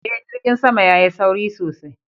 Eh, jirgin sama ya Yi sauri sosai.